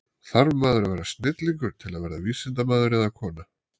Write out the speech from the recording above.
Þarf maður að vera snillingur til að verða vísindamaður eða-kona?